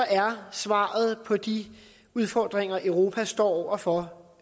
er svaret på de udfordringer europa står over for